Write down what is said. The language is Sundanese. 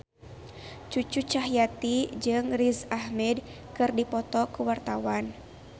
Cucu Cahyati jeung Riz Ahmed keur dipoto ku wartawan